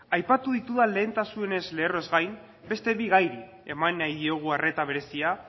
aipatu ditudan lehentasunezko lerroez gain beste bi gairi eman nahi diogu arreta berezia